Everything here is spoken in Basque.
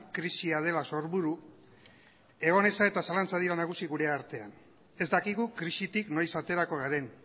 krisia dela sorburu egoneza eta zalantzak dira nagusi gure artean ez dakigu krisitik noiz aterako garen